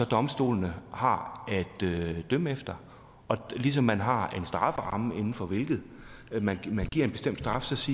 domstolene har at dømme efter ligesom man har en strafferamme inden for hvilken man giver en bestemt straf